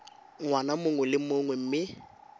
ngwaga mongwe le mongwe mme